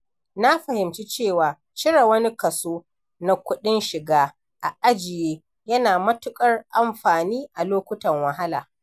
Na fahimci cewa cire wani kaso na kudin shiga a ajiye yana da matukar amfani a lokutan wahala.